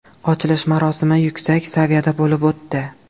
Ochilish marosimi yuksak saviyada bo‘lib o‘tdi.